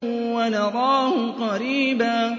وَنَرَاهُ قَرِيبًا